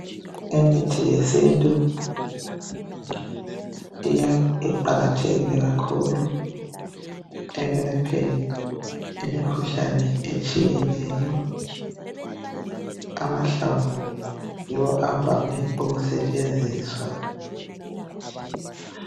Imithi yesintu iya iqakathekile kakhulu ekwelapheni imikhuhlane etshiyeneyo amahlamvu yiwo avame ukusetshenziswa.